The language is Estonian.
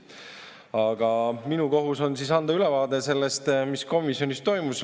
Aga minu kohus on siis anda ülevaade sellest, mis komisjonis toimus.